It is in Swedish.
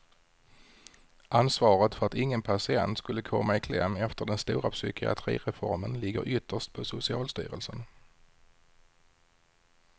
Ansvaret för att ingen patient skulle komma i kläm efter den stora psykiatrireformen ligger ytterst på socialstyrelsen.